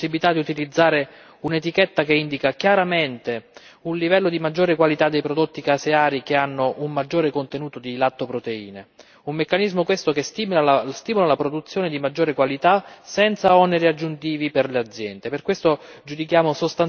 Abbiamo anche garantito la possibilità di utilizzare un'etichetta che indichi chiaramente un livello di maggiore qualità dei prodotti caseari che hanno un maggiore contenuto di lattoproteine, un meccanismo questo che stimola la produzione di maggiore qualità senza oneri aggiuntivi per le aziende.